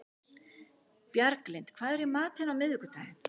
Bjarglind, hvað er í matinn á miðvikudaginn?